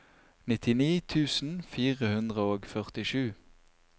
nittini tusen fire hundre og førtisju